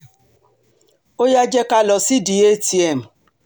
ó yá jẹ́ ká lọ sídìí atm